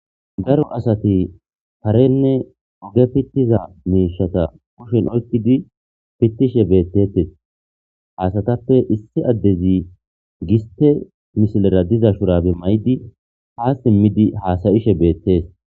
Daro asati tarenne uge pittiza meishata kushen oykidi pittishe beettetes haasatappe issi addezi giste mishilera diza shurabe may'idi hasimmidi haasayishe beettees.